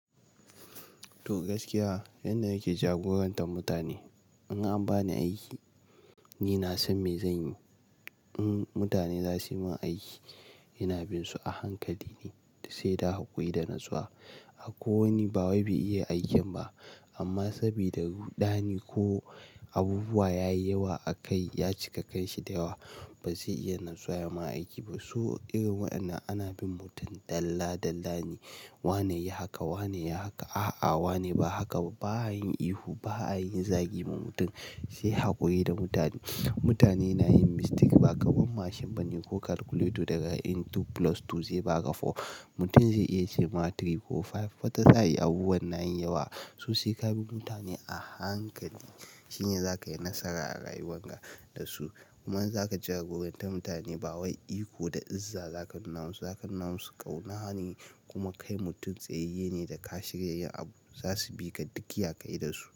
To gaskiya, yanda nake jagorantar mutane. In an bani aiki, ni nasan me zanyi. In mutane zasuyi min aiki, ina binsu a hankali ne, sai dai hakuri da natsuwa. Akwai wani, ba wai bai iya aikin ba amma saboda ruɗani ko abubuwa yayi yawa a kai, ya cika kanshi da yawa, bazai iya natsuwa ya ma aiki ba. So irin waɗannan ana bin mutum dalla-dalla ne. Wane yi haka, wane yi haka, a'a wane ba haka ba. Ba'a yin ihu ba, ba'a yin zagi ma mutum, sai hakuri da mutane. Mutane na yin mistake, ba kaman mashin bane ko calculator daga yin two plus two ze baka four. Mutum zai iya ce ma three ko five, wata sa'i abubuwan nayin yawa. So sai ka bi mutane ahankali, shine zakayi nasara a rayuwan ka dasu. Kuma in zaka jagoranta mutane, ba wai iko da izza zaka nuna musu. Zaka nuna musu ƙaunane kuma kai mutum tsayayye ne da ka shirya yin abu. Zasu bika duk ya kayi dasu.